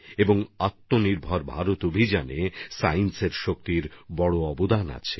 আর আত্মনির্ভর ভারত অভিযানএ বিজ্ঞানের শক্তিরও অনেক অবদান আছে